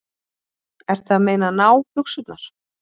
Ertu að meina nábuxurnar?